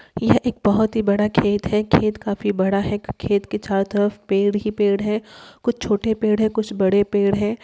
यह एक बहुत ही बड़ा खेत हैं। खेत काफी बड़ा हैं। खेत के चारो तरफ पेड़ ही पेड़ हैं। कुछ छोटे पेड़ हैं। कुछ बड़े पेड़ हैं।